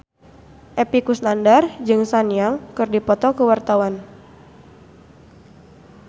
Epy Kusnandar jeung Sun Yang keur dipoto ku wartawan